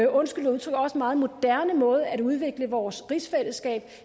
undskyld udtrykket også meget moderne måde at udvikle vores rigsfællesskab